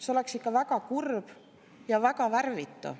See oleks ikka väga kurb ja väga värvita.